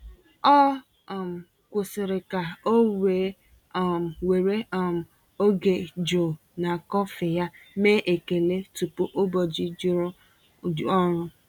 Ọ um kwụsịrị ka o wee um were um oge jụụ na kọfị ya mee ekele tupu ụbọchị juru ọrụ.